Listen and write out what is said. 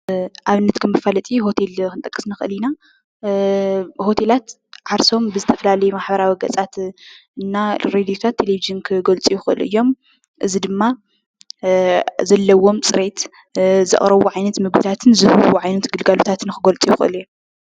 ዓይነት ካብ መፋለጢ ሆቴል ክንጠቅስ ንኽእል ኢና:: ሆቴላት ዓርሶም ብዝተፈላለዩ ማሕበራዊ ገፃት እና ብሬድዮታት ቴሌቭዥን ክገልፁ ይኽእሉ እዮም ፡፡ እዚ ድማ ዘለዎም ፅሬት ዘቕርብዎ ዓይነት ምግብታትን ዘቕርብዎ ዓይነት ግልጋሎታትን ንኽገልፁ ይኽእሉ::